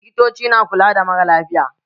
Likitoci na kula da maralafiya.